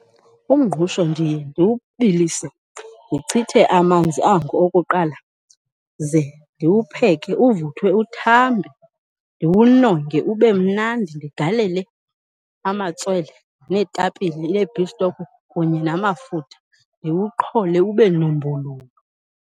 Umngqusho ndiye ndiwubilise, ndichithe amanzi ango okuqala, ze ndiwupheke uvuthwe uthambe. Ndiwunonge ube mnandi, ndigalele amatswele neetapile nee-beef stock kunye namafutha ndiwuqhole ube numbululu.